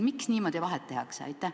Miks niimoodi vahet tehakse?